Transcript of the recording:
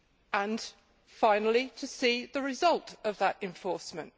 and, finally, to see the result of that enforcement.